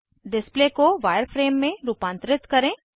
display को wireframe में रूपांतरित करें